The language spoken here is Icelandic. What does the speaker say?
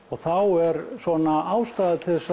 þá er svona ástæða til